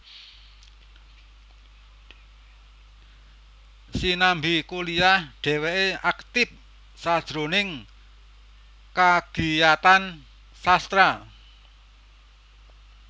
Sinambi kuliah dhèwèké aktif sajroning kagiyatan sastra